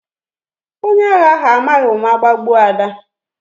Onye agha ahụ amaghị ụma gbagbuo Ada